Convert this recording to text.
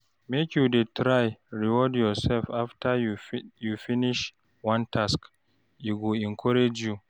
Make you try reward yoursef after you finish one task, e go encourage you.